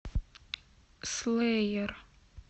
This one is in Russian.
слэйер